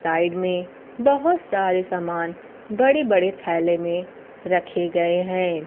Side में बहोत सारे सामान बड़े बड़े थैले में रखे गए हैं।